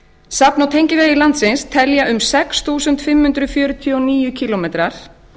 safn og tengivegir landsins teljast um sex þúsund fimm hundruð fjörutíu og níu kílómetrar